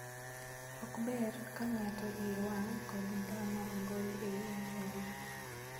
Ok ber ka ng'ato iye wang' kod ng'ama ong'ol ei anyuola.